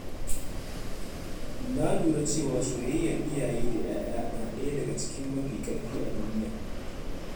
Na lura cewa soyayyar iyaye da ‘ya’ya na ɗaya daga cikin mafi ƙarfi a duniya.